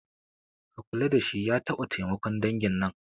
Ka kula dashi ya taɓa taimakon dangin nan